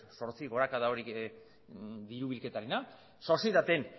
zortzi gorakada hori diru bilketarena sozietateetan